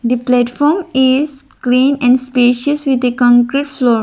a platform is clean and spacious with a concrete floor.